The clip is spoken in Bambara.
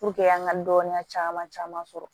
an ka dɔnniya caman caman sɔrɔ